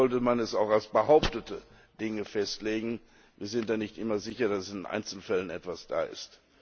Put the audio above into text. Deswegen sollte man es auch als behauptete Dinge festlegen, wir sind da nicht immer sicher, dass in den einzelnen Fällen etwas da ist.